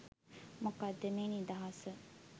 මොකද්ද මේ නිදහස